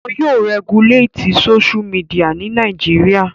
Won yóò rẹguléètì Sóṣú midià ní Nàìjíríà